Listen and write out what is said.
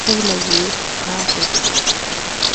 puulayiyoobaa geettees.